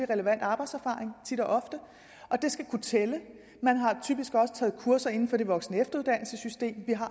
relevant arbejdserfaring og det skal kunne tælle man har typisk også taget kurser inden for det voksen og efteruddannelsessystem vi har